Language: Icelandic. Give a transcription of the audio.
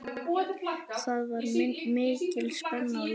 Það var mikil spenna í loftinu.